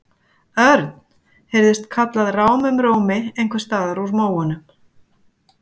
Örn! heyrðist kallað rámum rómi einhvers staðar úr móunum.